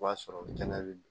O b'a sɔrɔ kɛnɛ bɛ